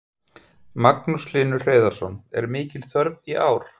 Magnús Hlynur Hreiðarsson: Er mikil þörf í ár?